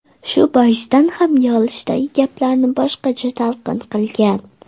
Shu boisdan ham yig‘ilishdagi gaplarni boshqacha talqin qilgan.